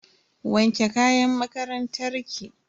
Wanke kayan makarantar ki.